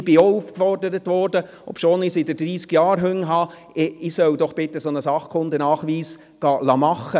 Ich wurde auch aufgefordert, doch bitte einen solchen SKN machen zu lassen, obschon ich seit dreissig Jahren Hunde habe.